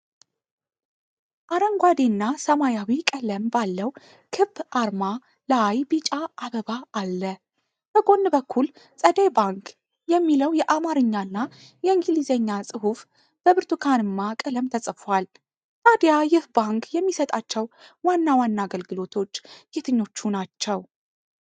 አረንጓዴና ሰማያዊ ቀለም ባለው ክብ አርማ ላይ ቢጫ አበባ አለ። በጎን በኩል "ፀደይ ባንክ" የሚለው የአማርኛና የእንግሊዝኛ ጽሑፍ በብርቱካንማ ቀለም ተጽፏል። ታዲያ ይህ ባንክ የሚሰጣቸው ዋና ዋና አገልግሎቶች የትኞቹ ናቸው?